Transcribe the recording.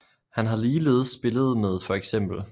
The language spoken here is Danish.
Han har ligeledes spillet med feks